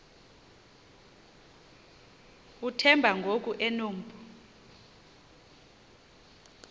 uthemba ngoku enompu